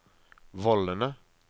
vollene